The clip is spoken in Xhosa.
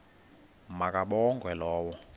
ma kabongwe low